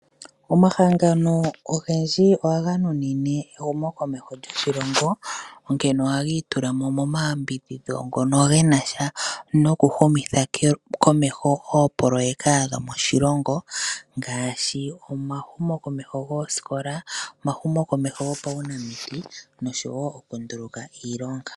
Omahangano ogendji ohaga nunine ehumo komeho lyoshilongo onkene ohaga itulamo mo mayambidhidho ngono ge nasha noku humitha komeho oopoloyeka dho moshilongo ngaashi omahumo komeho goosikola, omahumo komeho go paunamiti osho wo oku nduluka iilonga.